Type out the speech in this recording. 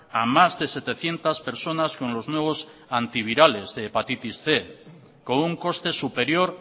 a más de setecientos personas con los nuevos antivirales de hepatitis cien con un coste superior